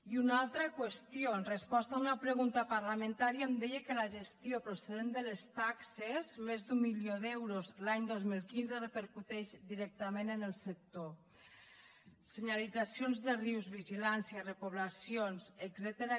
i una altra qüestió en resposta a una pregunta parlamentària em deia que la gestió procedent de les taxes més d’un milió d’euros l’any dos mil quinze repercuteix directament en el sector senyalitzacions de rius vigilància repoblacions etcètera